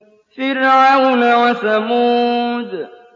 فِرْعَوْنَ وَثَمُودَ